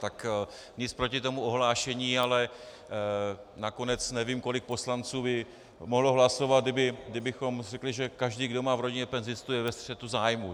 Tak nic proti tomu ohlášení, ale nakonec nevím, kolik poslanců by mohlo hlasovat, kdybychom řekli, že každý, kdo má v rodině penzistu, je ve střetu zájmů.